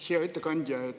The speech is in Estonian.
Hea ettekandja!